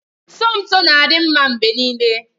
Somto na-adị mma mgbe niile